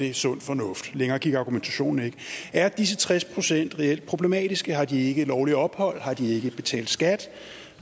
er sund fornuft længere gik argumentationen ikke er disse tres procent reelt problematiske har de ikke lovligt ophold har de ikke betalt skat